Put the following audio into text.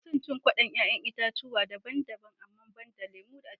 Ina son cin kwaɗon 'ya'yan itatchuwa daban-daban amma banda lemu aciki